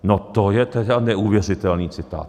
No to je tedy neuvěřitelný citát!